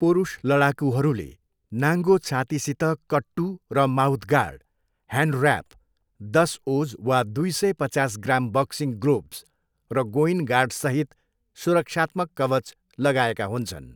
पुरुष लडाकुहरूले नाङ्गो छातीसित कट्टु र माउथगार्ड, ह्यान्ड ऱ्याप, दस ओज वा दुई सय पचास ग्राम बक्सिङ ग्लोभ्स र ग्रोइन गार्डसहित सुरक्षात्मक कवच लगाएका हुन्छन्।